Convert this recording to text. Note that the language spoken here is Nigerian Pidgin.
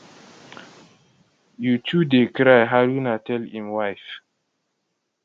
you too dey cry haruna tell im wife